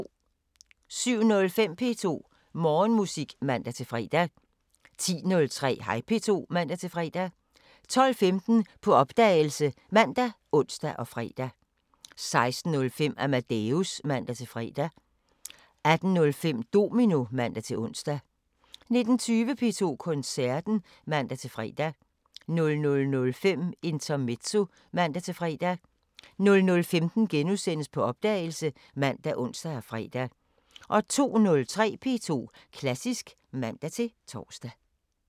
07:05: P2 Morgenmusik (man-fre) 10:03: Hej P2 (man-fre) 12:15: På opdagelse ( man, ons, fre) 16:05: Amadeus (man-fre) 18:05: Domino (man-ons) 19:20: P2 Koncerten (man-fre) 00:05: Intermezzo (man-fre) 00:15: På opdagelse *( man, ons, fre) 02:03: P2 Klassisk (man-tor)